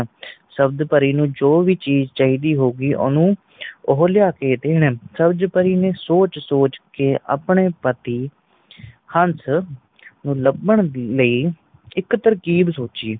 ਸਬਜ ਪਰੀ ਨੂੰ ਜੋ ਵੀ ਚੀਜ਼ ਚੀਦੀ ਹੋਗੀ ਓਹਨੂੰ ਉਹ ਲਿਆ ਕੇ ਦੇਣ ਸਬਜ ਪਰੀ ਨੇ ਸੋਚ ਸੋਚ ਕੇ ਆਪਣੇ ਪਤੀ ਹੰਸ ਨੂੰ ਲਬਨ ਲਈ ਇੱਕ ਤਰਕੀਬ ਸੋਚੀ